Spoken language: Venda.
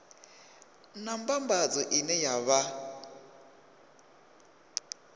na mbambadzo ine ya vha